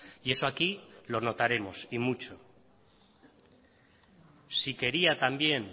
y eso aquí lo notaremos y mucho si quería también